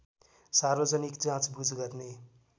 सार्वजनिक जाँचबुझ गर्ने